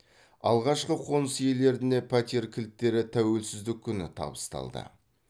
алғашқы қоныс иелеріне пәтер кілттері тәуелсіздік күні табысталды